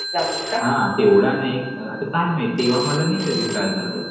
जातात का हा तेव्हडा एक आता काय माहिती तेव्हा मला नाय कधी त्रास झाला